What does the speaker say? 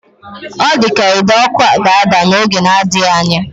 Ọ dị ka ide ọkụ ga-ada n'oge na-adịghị anya.